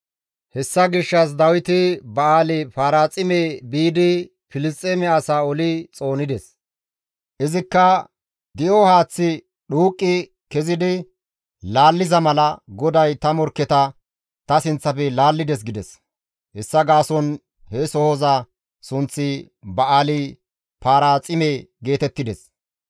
Hessa gishshas Dawiti Ba7aali-Paraaxime biidi Filisxeeme asaa oli xoonides; izikka, «Di7o haaththi dhuuqqi kezidi laalliza mala, GODAY ta morkketa ta sinththafe laallides» gides. Hessa gaason he sohoza sunththi Ba7aali-Paraaxime geetettides.